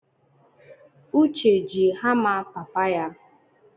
Uche ji hama papa ya